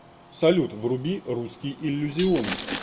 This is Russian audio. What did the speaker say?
салют вруби русский иллюзион